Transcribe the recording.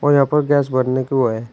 और यहां पर गैस भरने के वो है।